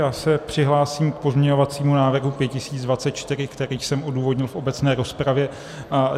Já se přihlásím k pozměňovacímu návrhu 5024, který jsem odůvodnil v obecné rozpravě.